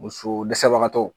Muso dɛsɛbagatɔw